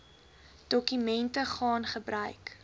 dokumente gaan gebruik